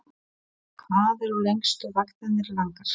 Lillý: Hvað eru lengstu vaktirnar langar?